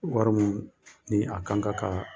Wari mun ni a kan ka kaa